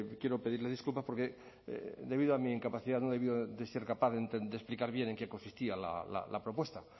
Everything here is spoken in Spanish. quiero pedirle disculpas porque debido a mi incapacidad no he debido de explicar bien en qué consistía la propuesta